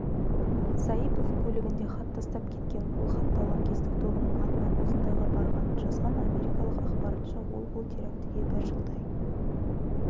саипов көлігінде хат тастап кеткен ол хатта лаңкестік тобының атынан осындайға барғанын жазған америкалық ақпарынша ол бұл терактіге бір жылдай